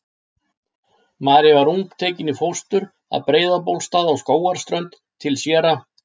María var ung tekin í fóstur að Breiðabólstað á Skógarströnd til séra